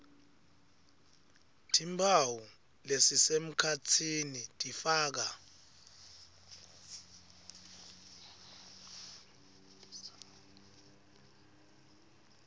timphawu lesisemkhatsini tifaka